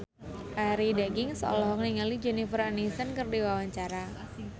Arie Daginks olohok ningali Jennifer Aniston keur diwawancara